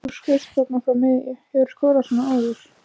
Þú skaust þarna frá miðju, hefurðu skorað svona áður?